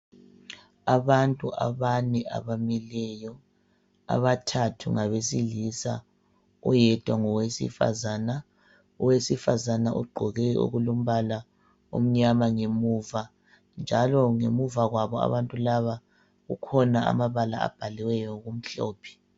Abantu abane abamileyo. Abathathu ngabesilisa, oyedwa ngowesifazana. Owesfazana ugqoke ukulombala omnyama ngemuva, njalo ngemuva kwabo abantu laba kukhona amabala abhaliweyo ngokumhlophe.